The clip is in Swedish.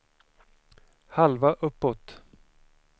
halva uppåt